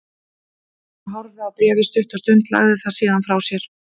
Hann horfði á bréfið stutta stund, lagði það síðan frá sér.